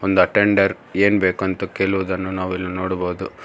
ಒಂದು ಅಟೆಂಡರ್ ಏನ್ ಬೇಕ್ ಅಂತ್ ಕೇಳುವುದನ್ನು ನಾವು ಇಲ್ಲಿ ನೋಡಬಹುದು.